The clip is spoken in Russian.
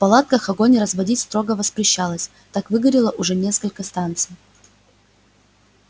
в палатках огонь разводить строго воспрещалось так выгорело уже несколько станций